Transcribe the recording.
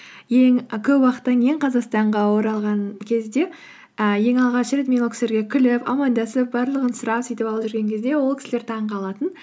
і көп уақыттан кейін қазақстанға оралған кезде і ең алғаш рет мен ол кісілерге күліп амандасып барлығын сұрап сөйтіп алып жүрген кезде ол кісілер таңғалатын